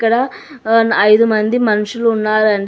ఇక్కడ ఆన్ ఐదు మంది మనుషులు ఉన్నారాండి.